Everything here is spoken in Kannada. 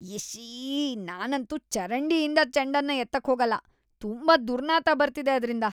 ಇಶ್ಶೀ.. ನಾನಂತೂ ಚರಂಡಿಯಿಂದ ಚೆಂಡನ್ನ ಎತ್ತಕ್ಹೋಗಲ್ಲ. ತುಂಬಾ ದುರ್ನಾತ ಬರ್ತಿದೆ ಅದ್ರಿಂದ.